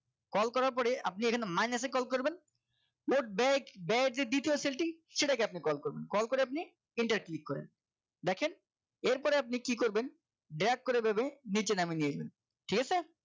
call করার পর আপনি এখানে minus এ call করবেন ব্যয় ব্যয়ের যে দ্বিতীয় cell টি সেটাকে আপনি call করবেন call করে আপনি enter click করেন দেখেন এর পরে আপনি কি করবেন dag করে এভাবেই নিচে নামিয়ে নিয়ে যাবেন ঠিক আছে